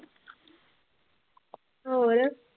ਹੋਰ